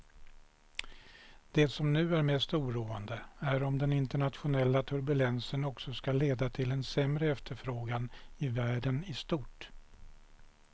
Det som nu är mest oroande är om den internationella turbulensen också ska leda till en sämre efterfrågan i världen i stort.